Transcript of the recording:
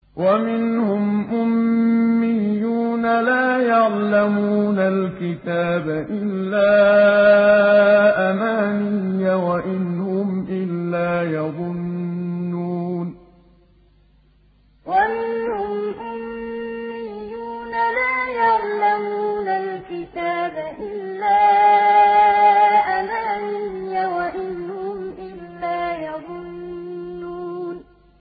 وَمِنْهُمْ أُمِّيُّونَ لَا يَعْلَمُونَ الْكِتَابَ إِلَّا أَمَانِيَّ وَإِنْ هُمْ إِلَّا يَظُنُّونَ وَمِنْهُمْ أُمِّيُّونَ لَا يَعْلَمُونَ الْكِتَابَ إِلَّا أَمَانِيَّ وَإِنْ هُمْ إِلَّا يَظُنُّونَ